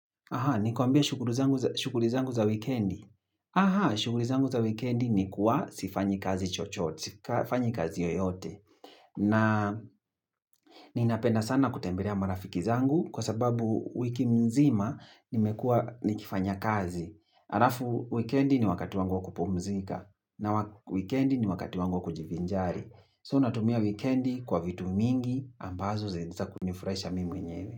Nikwambie shughuli zangu za wikendi? Aha, shughuli zangu za wikendi nikuwa sifanyi kazi chochote, sifanyi kazi yeyote. Na ninapenda sana kutembelea marafiki zangu kwa sababu wiki mzima nimekuwa nikifanya kazi. Alafu wikendi ni wakati wangu wa kupumzika na wakati wangu wa kujivinjari. So, natumia wikendi kwa vitu mingi ambazo zinaweza kunifurahisha mimi mwenyewe.